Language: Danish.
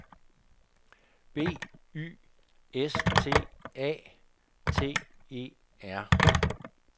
B Y S T A T E R